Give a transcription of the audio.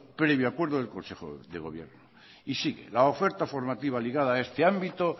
previo acuerdo del consejo de gobierno y sigue la oferta formativa ligada a este ámbito